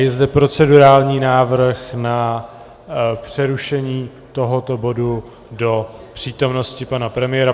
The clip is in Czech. Je zde procedurální návrh na přerušení tohoto bodu do přítomnosti pana premiéra.